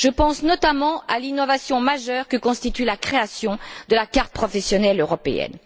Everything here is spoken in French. Je pense notamment à l'innovation majeure que constitue la création de la carte professionnelle européenne.